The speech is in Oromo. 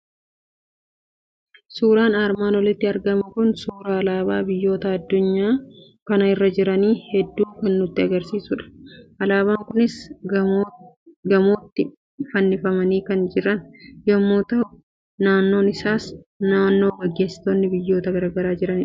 Suuraan armaan oliitti argamu kun suuraa alaabaa biyyoota addunyaa kana irra jiran hedduu kan nutti argisiisudha. Alaabaan kunis gamootti fannifamanii kan jiran yommuu ta'u, naannoon isaas naannoo gaggeessitoonni biyyoota gara garaa jiranidha.